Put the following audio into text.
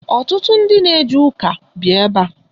Ọtụtụ ndị na eje ụka bi ebe a.